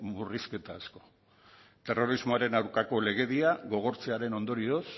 murrizketa asko terrorismoaren aurkako legedia gogortzearen ondorioz